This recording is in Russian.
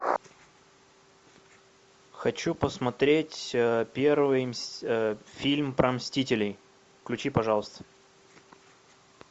хочу посмотреть первый фильм про мстителей включи пожалуйста